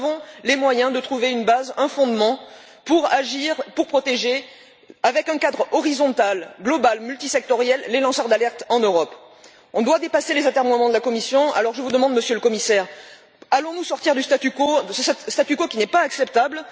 Nous avons les moyens de trouver une base, un fondement pour agir et pour protéger, avec un cadre horizontal, global, multisectoriel, les lanceurs d'alerte en Europe. Il faut dépasser les atermoiements de la Commission. Alors je vous le demande, Monsieur le Commissaire allons nous sortir de ce statu quo, qui n'est pas acceptable?